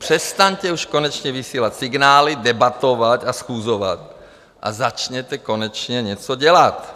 Přestaňte už konečně vysílat signály, debatovat a schůzovat a začněte konečně něco dělat.